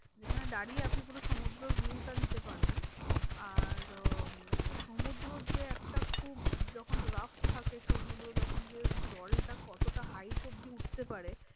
যেখানে দাঁড়িয়ে আপনি পুরো সমুদ্রের view টা নিতে পারবেন। আর উম সমুদ্রের যে একটা খুব যখন rough থাকে সমুদ্র তখন জলটা কতটা hight অব্ধি উঠতে পারে?